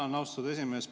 Tänan, austatud esimees!